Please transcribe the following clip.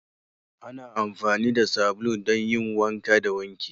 Ana amfani da sabulu don yin wanka da wanki